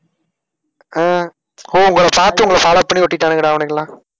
அஹ் ஓஹ் உங்களைப் பாத்து உங்களை follow பண்ணி ஒட்டிட்டானுங்கடா அவனுங்க எல்லாம்.